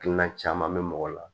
Hakilina caman be mɔgɔ la